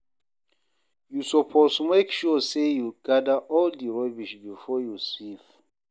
You suppose make sure sey you gather all di rubbish before you sweep.